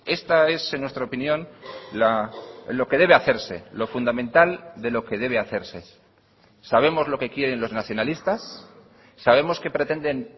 esta es en nuestra opinión lo que debe hacerse lo fundamental de lo que debe hacerse sabemos lo que quieren los nacionalistas sabemos que pretenden